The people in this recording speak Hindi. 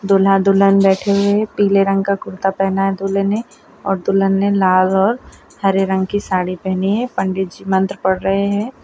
दूल्हा दुल्हन बैठे हुए है पीले रंग का कुर्ता पहना है दूल्हे ने और दुल्हन ने लाल और हरे रंग की साड़ी पहनी है पंडित जी मंत्र पड़ रहे है।